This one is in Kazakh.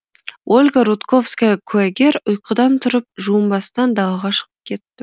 ольга рудковская куәгер ұйқыдан тұрып жуынбастан далаға шығып кетті